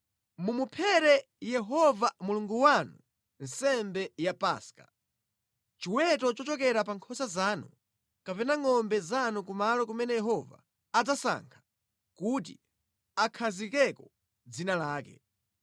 Mumuphere Yehova Mulungu wanu nsembe ya Paska, chiweto chochokera pa nkhosa zanu kapena ngʼombe zanu kumalo kumene Yehova adzasankha kuti akhazikeko dzina lake.